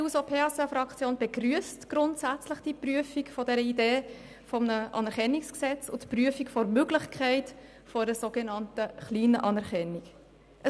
Die SP-JUSO-PSA-Fraktion begrüsst die Prüfung dieser Idee eines Anerkennungsgesetzes sowie die Prüfung der Möglichkeit einer sogenannten kleinen Anerkennung grundsätzlich.